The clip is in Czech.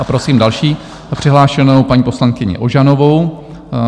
A prosím další přihlášenou, paní poslankyni Ožanovou.